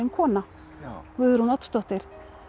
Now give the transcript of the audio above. kona Guðrún Oddsdóttir